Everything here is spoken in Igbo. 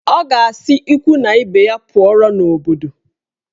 Ọ ga-asị ikwu na ibe ya pụọrọ n'obodo